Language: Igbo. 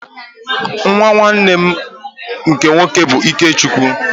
Nnwa nnwanne m nke nwoke bụ Ikechukwu.